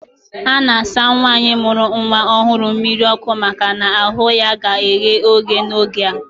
A na-asụ nwaanyị mụrụ nnwa ọhụrụ mmiri ọkụ maka na ahụ ya ka ghe oghe n'oge a